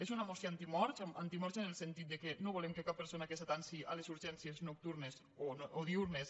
és una moció antimorts antimorts en el sentit que no volem que cap persona que s’atansi a les urgències nocturnes o diürnes